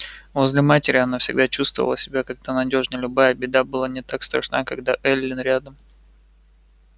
возле матери она всегда чувствовала себя как-то надежнёй любая беда была не так страшна когда эллин рядом